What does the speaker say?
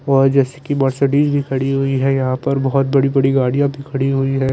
वह जैसे कि मर्सिडीस भी खड़ी हुई हैं यहाँ पर बहुत बड़ी बड़ी गाड़ियाँ भी खड़ी हुई हैं।